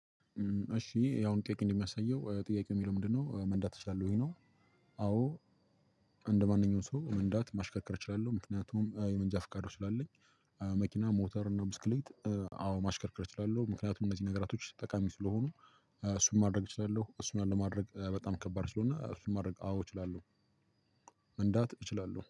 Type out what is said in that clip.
እሺ ያው ጥያቄው እንደሚያሳየው ጥያቄው የሚለው ምንድነው መንዳት ትችላለህ ወይ ነው? አዎ እንደማንኛውም ሰው መንዳት ማሽከርከር እችላለሁ ምክንያቱም የመንጃ ፍቃዶች ስላለኝ። መኪና ሞተር እና ብስክሌት አዎ ማሽከርከር እችላለሁ። ምክንያቱም እነዚህ ነገራቶች ጠቃሚ ስለሆኑ። እሱን ማድረግ እችላለሁ እሱን አለማድረግ በጣም ከባድ ስለሆነ እሱን ማድረግ አዎ እችላለሁ። መንዳት እችላለሁ